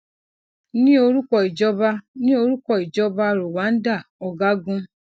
ní orúkọ ìjọba ní orúkọ ìjọba rwanda ọgágun